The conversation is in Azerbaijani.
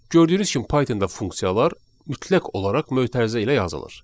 Gördüyünüz kimi Pythonda funksiyalar mütləq olaraq mötərizə ilə yazılır.